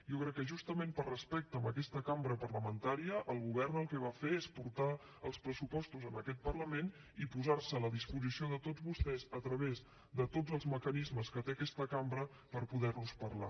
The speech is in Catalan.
jo crec que justament per respecte a aquesta cambra parlamentària el govern el que va fer és portar els pressupostos a aquest parlament i posar se a la disposició de tots vostès a través de tots els mecanismes que té aquesta cambra per poder ne parlar